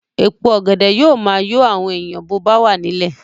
Èpo ọ̀gẹ̀dẹ̀ yóò máa yọ àwọn èèyàn bó bá wà nílẹ̀